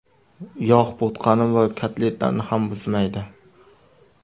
Yog‘ bo‘tqani va kotletlarni ham buzmaydi.